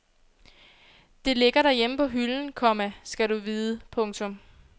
Det ligger derhjemme på hylden, komma skal du vide. punktum